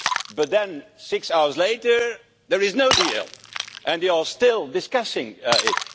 but then six hours later there is no deal and they are still discussing it.